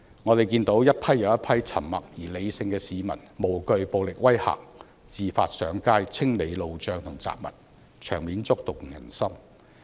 我們看到一批又一批沉默而理性的市民，無懼暴力威嚇，自發上街清理路障和雜物，場面觸動人心。